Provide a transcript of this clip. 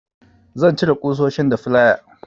Zan cire ƙusoshin da flaya.